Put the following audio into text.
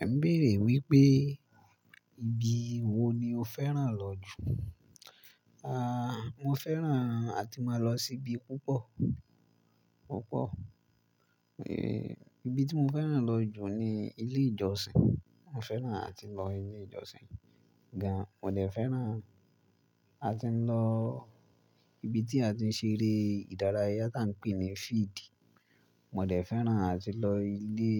Ẹ ń bèèrè wípé ibi wo ni o fẹ́ràn lọ jù. Ah, mo fẹ́ràn àti máa lọ sí ibi púpọ̀, púpọ̀. Eh, ibi tí mo fẹ́ràn lọ jù ni ilé ìjọsìn. Mo fẹ́ràn àti lọ ilé ìjọsìn gan. Mo de fẹ́ràn àti lọ ibi tí a ti ń ṣe eré ìdárayá tí a ń pè ní field. Mo de fẹ́ràn àti lọ ilé,